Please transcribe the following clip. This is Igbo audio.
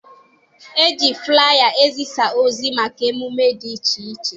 E ji fụlaya ezisa ozi maka emume dị iche iche.